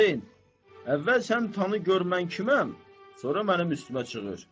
"Qozen, əvvəl sən tanı gör mən kiməm, sonra mənim üstümə çığır.